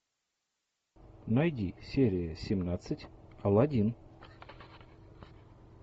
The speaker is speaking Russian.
найди серия семнадцать аладдин